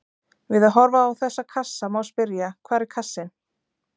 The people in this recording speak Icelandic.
Við að horfa á þessa kassa má spyrja: hvar er kassinn?